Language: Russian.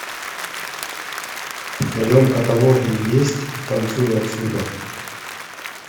в твоем каталоге есть танцуй отсюда